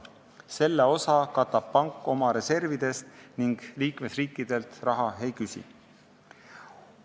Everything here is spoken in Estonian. Selle osa katab pank oma reservidest ning liikmesriikidelt raha ei küsi.